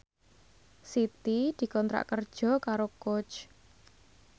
Siti dikontrak kerja karo Coach